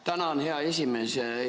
Tänan, hea esimees!